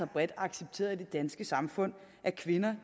bredt accepteret i det danske samfund at kvinder